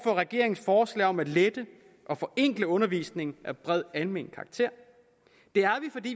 regeringens forslag om at lette og forenkle undervisning af bred almen karakter det er